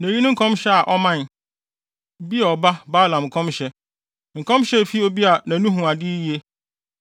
na eyi ne nkɔmhyɛ a ɔmae: “Beor ba Balaam nkɔmhyɛ, nkɔmhyɛ a efi obi a nʼani hu ade yiye,